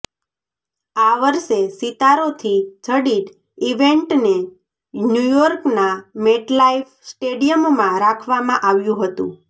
આ વર્ષે સિતારોથી જડિત ઇવેન્ટને ન્યૂયોર્કના મેટલાઈફ સ્ટેડિયમમાં રાખવામાં આવ્યું હતું